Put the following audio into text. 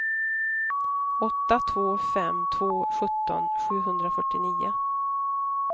åtta två fem två sjutton sjuhundrafyrtionio